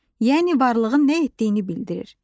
Yəni varlığın nə etdiyini bildirir.